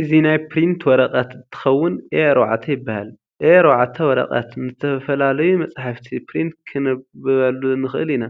እዚ ናይ ፕሪንተር ወርቀት እንትከውን A4 ይባሃል።A4 ወረቀት ንዝተፈላለሩ መፅሓፍቲ ፕሪንት ክንብለሉ ንክእል ኢና።